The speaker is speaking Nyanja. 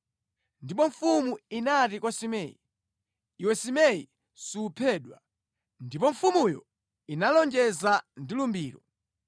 Ndipo mfumu inati kwa Simei, “Iwe Simei suphedwa.” Ndipo mfumuyo inalonjeza ndi lumbiro.